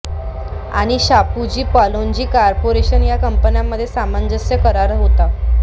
व शापूरजी पालोनजी कॉर्पोरेशन या कंपन्यांमध्ये सामंजस्य करार झाला होता